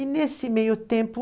E, nesse meio tempo,